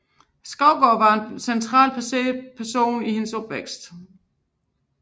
Skovgaard blev den centrale person i hendes opvækst